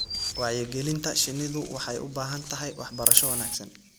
Wacyigelinta shinnidu waxay u baahan tahay waxbarasho wanaagsan.